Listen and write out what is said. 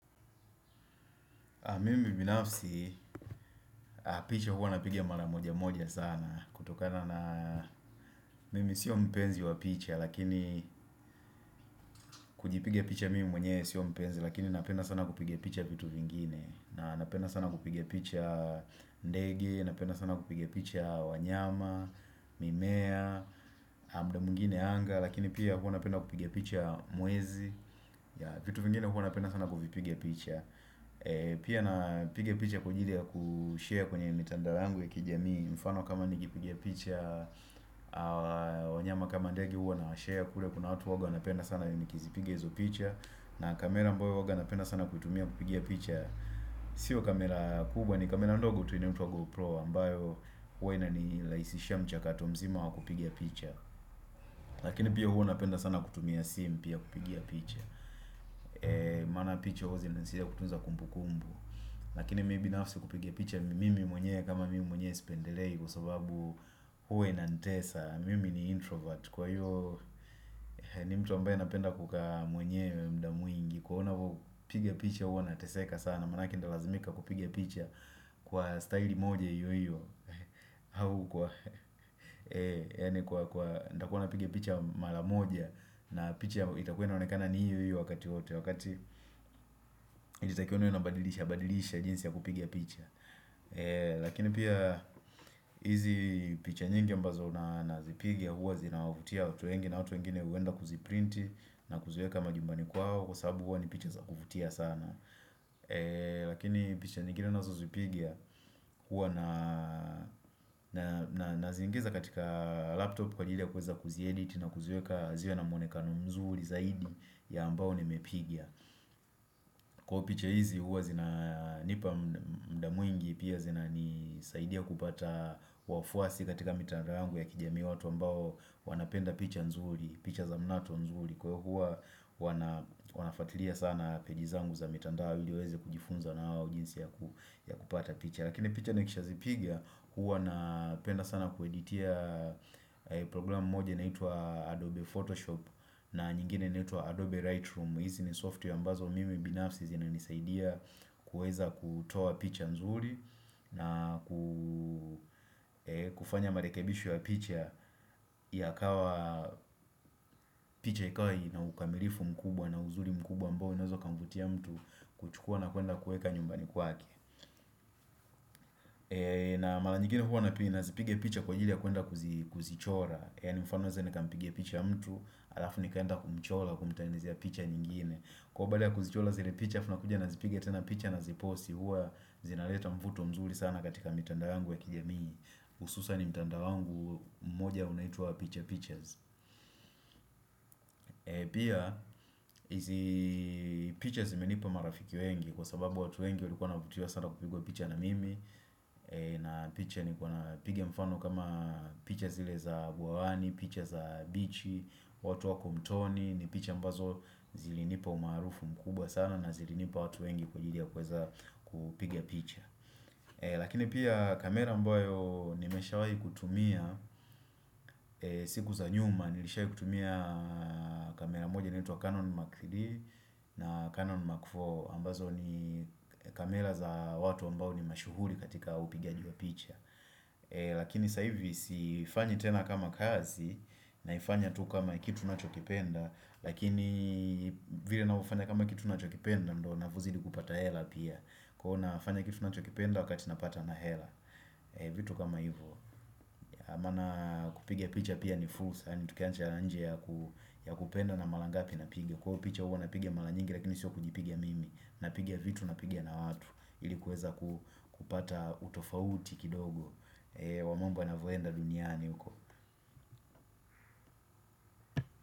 Mimi binafsi, picha hua napiga maramoja moja sana. Kutokana na, mimi sio mpenzi wa picha, lakini kujipiga picha mimi mwenyewe sio mpenzi, lakini napenda sana kupiga picha vitu vingine. Napenda sana kupiga picha ndege napenda sana kupiga picha wanyama, mimea, amda mwngine anga, lakini pia hua napenda kupiga picha mwezi. Vitu vingine hua napenda sana kuvipiga picha. Pia napiga picha kwajili ya kushare kwenye mitandao yangu ya kijamii mfano kama nikipiga picha wanyama kama ndege huana washare kule kuna watu huwaga wanapenda sana nikizipiga hizo picha na kamera ambao huwaga napenda sana kutumia kupigia picha Sio kamera kubwa ni kamera ndogo tu inaitwa gopro ambayo hua inanilaisishia mchakato mzima wakupiga picha Lakini pia huo napenda sana kutumia sim pia kupigia picha Mana picha hua zinansia kutunza kumbu kumbu Lakini mi binafsi kupige picha mimi mwenyewe kama mimi mwenyewe sipendelei kusobabu huwo inantesa, mimi ni introvert kwa hiyo ni mtu ambaye napenda kukaa mwenyewe mda mwingi Kwa una huu, piga picha huwa na teseka sana, manake ndalazimika kupiga picha kwa staili moja hiyo hiyo hau kwa yani kwa kwa ndakua napiga picha malamoja na picha itakua inaonekana ni hiyo hiyo wakati wote wakati itakionu unabadilisha badilisha jinsi ya kupigia picha lakini pia hizi picha nyingi ambazo nana zipiga huwa zina wavutia watu wengi na watu wengine huenda kuziprinti na kuziweka majumbani kwao kwa sababu huwa ni picha za kuvutia sana lakini picha nyingine nazo zipiga huwa na na naziingiza katika laptop kwa ajili ya kuweza kuziedit na kuzieka ziwe na muonekano mzuri zaidi ya ambao ni mepiga kwao picha hizi huwa zina nipa mda mwingi pia zina ni saidia kupata wafuasi katika mitandao yangu ya kijamii watu ambao wanapenda picha nzuri picha za mnato nzuri kwa hio hua wana wanafuatilia sana peji zangu za mitandao ili waeze kujifunza nao jinsi ya ku ya kupata picha Lakini picha nikisha zipiga huwa na penda sana kueditia program moja inaitwa Adobe Photoshop na nyingine naitwa Adobe Lightroom hizi ni software ambazo mimi binafsi zina nisaidia kuweza kutoa picha nzuri na ku kufanya marekebisho ya picha ya kawa picha ikawa ina ukamilifu mkubwa na uzuri mkubwa ambao inaeza kamvutia mtu kuchukua na kuenda kueka nyumbani kwake na mara nyingine huwa na pi nazipiga picha kwa ajili ya kuenda kuzi kuzichora Yani mfano naeze nikampiga picha mtu Alafu nikaenda kumchola kumtengenezea picha nyingine Kwau baali ya kuzichola zile picha aFunakuja nazipiga tena picha na ziposi Huwa zinaleta mvuto mzuri sana katika mitandao yangu ya kijami Ususa ni mtandao wangu mmoja unaitwa piche piches Pia, hizi piches imenipa marafiki wengi Kwa sababu watu wengi walikuwa navutiwa sana kupigwa picha na mimi na picha ni kwa na piga mfano kama picha zile za guawani, picha za bichi, watu wako mtoni ni picha ambazo zilinipa umaarufu mkubwa sana na zilinipa watu wengi kwa ajili ya kweza kupiga picha Lakini pia kamera mboyo nimesha wahi kutumia siku za nyuma nilishahi kutumia kamera moja inaitwa Canon Mark 3D na Canon Mark 4 ambazo ni kamela za watu ambao ni mashuhuri katika upigaji wa picha Lakini saivi siifanyi tena kama kazi naifanya tu kama kitu na chokipenda Lakini vile navo ufanya kama kitu na chokipenda ndo navozidi kupata hela pia Kwaunafanya kitu na chokipenda wakati napata na hela vitu kama hivyo Mana kupiga picha pia ni fulsa Tukiancha nje ya kupenda na malangapi na piga Kwa picha uwa na piga malanyingi lakini siwa kujipiga mimi Napiga vitu napiga na watu Ilikuwezaku ku kupata utofauti kidogo Wamombo na voenda duniani uko.